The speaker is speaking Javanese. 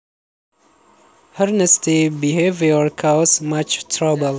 Her nasty behavior cause much trouble